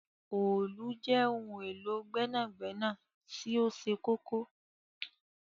Òòlù jẹ ohun élo gbẹnagbẹna ti oṣẹ kọkọ.